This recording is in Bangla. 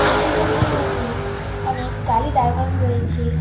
পেট্রোল পাম্প -টির মধ্যে অনেক গাড়ি দাঁড় করানো রয়েছে।